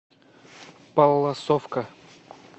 палласовка